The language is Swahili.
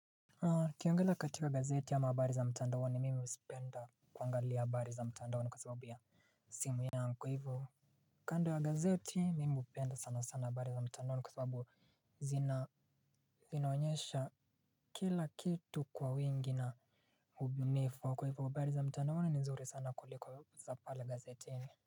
Ukiangila katika gazeti ama habari za mtandaoni mimi huzipenda kuangalia habari za mtandaoni kwa sababu ya simu yangu. Kwa hivyo kando ya gazeti mimi hupenda sana sana habari za mtandaoni kwa sababu zina zinaonyesha kila kitu kwa wingi na ubunifu kwa hivyo habari za mtandaoni ni nzuri sana kuliko za pale gazetini.